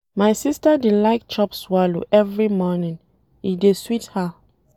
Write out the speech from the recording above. My sista dey like chop swallow every morning, e dey sweet her.